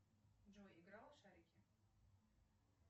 джой играла в шарики